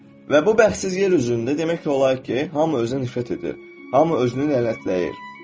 Və bu bədbəxt yer üzündə demək olar ki, hamı özünə nifrət edir, hamı özünü lənətləyir.